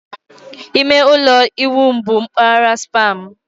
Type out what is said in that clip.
Ime ụlọ ịwụ m bụ mpaghara spa m.